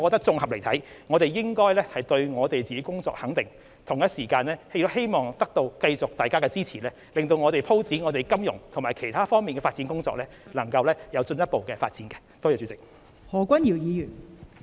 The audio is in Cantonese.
綜合而言，我們應該對自己的工作給予肯定，同時亦希望繼續得到大家支持，使我們在發展金融及其他方面的工作上能夠取得進一步的成果。